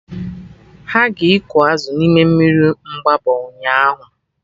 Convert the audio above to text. Ha ga-ịkụ azụ na mmiri Mgbabọ ụnyaahụ